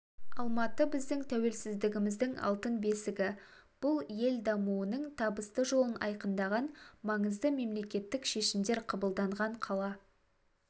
алматы біздің тәуелсіздігіміздің алтын бесігі бұл ел дамуының табысты жолын айқындаған маңызды мемлекеттік шешімдер қабылданған қала